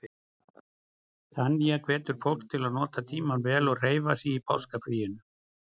Tanya hvetur fólk til að nota tímann vel og hreyfa sig í páskafríinu.